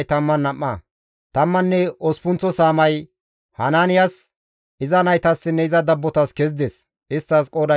Tammanne osppunththa saamay Hanaanes, iza naytassinne iza dabbotas kezides; isttas qooday 12.